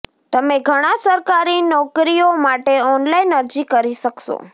તમે ઘણાં સરકારી નોકરીઓ માટે ઓનલાઇન અરજી કરી શકશો